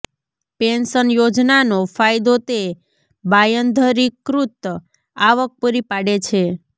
pension યોજનાનો ફાયદો તે બાંયધરીકૃત આવક પૂરી પાડે છે